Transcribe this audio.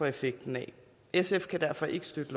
effekten af sf kan derfor ikke støtte